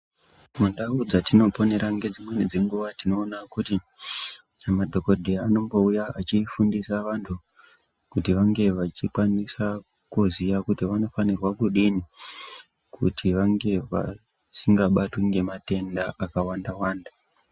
Mundau dzatinoponera nedzimweni dzenguva tinoona kuti, madhokodheya anombouya echifundisa vantu kuti vange vechikwanisa kuziya kuti vanofankrwa kudini kuti vange vasingabatwi nematenda akawanda wanda.